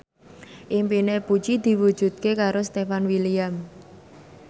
impine Puji diwujudke karo Stefan William